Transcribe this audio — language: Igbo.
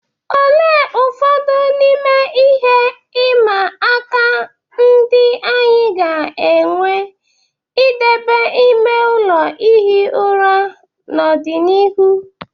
Olee ụfọdụ n'ime ihe ịma aka ndị anyị ga-enwe n'idebe ime ụlọ ihi ụra n'ọdịnihu?